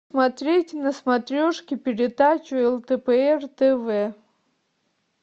смотреть на смотрешке передачу лдпр тв